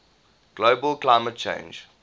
global climate change